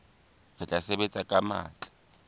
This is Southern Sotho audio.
re tla sebetsa ka matla